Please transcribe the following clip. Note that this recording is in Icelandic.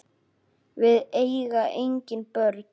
Við eiga engin börn.